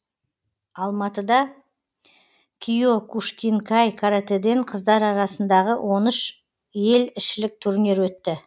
алматыда киокушинкай каратэден қыздар арасындағы он үш ел ішілік турнир өтті